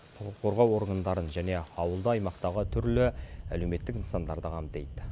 құқық қорғау органдарын және ауылды аймақтағы түрлі әлеуметтік нысандарды қамтиды